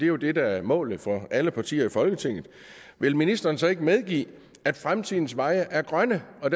jo det der er målet for alle partier i folketinget vil ministeren så ikke medgive at fremtidens veje er grønne og